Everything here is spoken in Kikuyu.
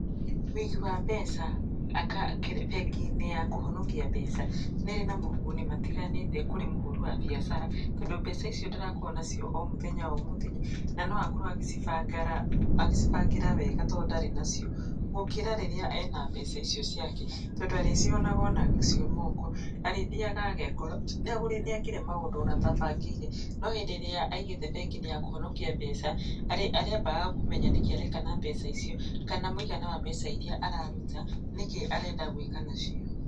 Wĩigi wa mbeca bengi-inĩ ya kũhonokia mbeca nĩ ĩrĩ na moguni matiganĩte kũrĩ mũhũri wa biacara, tondũ mbeca icio ndarakorwo nacio o mũthenya o mũthenya, na no akorwo agĩcibangĩra wega tondũ ndarĩ nacio, gũkĩra rĩrĩa ena mbeca icio ciake. Tondũ arĩcionaga onacio moko, arĩthiaga agekora nĩ ekire maũndũ ona atabangĩire, no hĩndĩ ĩrĩa aigĩte bengi-inĩ ya kũhonokia mbeca, arĩambaga kũmenya nĩkĩ areka na mbeca icio, kana mũigana wa mbeca iria araruta nĩkĩ arenda gwika nacio.